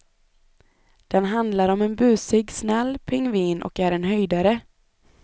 Den handlar om en busig, snäll pingvin och är en höjdare.